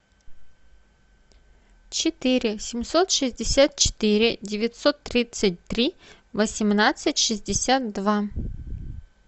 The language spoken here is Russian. четыре семьсот шестьдесят четыре девятьсот тридцать три восемнадцать шестьдесят два